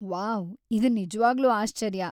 Wow ! ಇದ್‌ ನಿಜ್ವಾಗ್ಲೂ ಆಶ್ಚರ್ಯ.